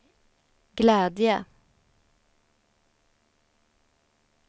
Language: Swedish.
glädje